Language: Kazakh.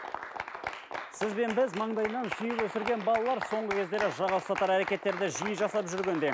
сіз бен біз маңдайынан сүйіп өсірген балалар соңғы кездері жаға ұстатар әркеттерді жиі жасап жүргенде